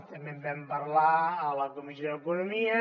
també en vam parlar a la comissió d’economia